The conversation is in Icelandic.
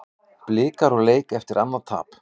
Blikar úr leik eftir annað tap